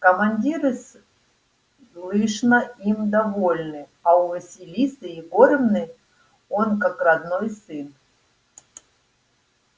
командиры слышно им довольны а у василисы егоровны он как родной сын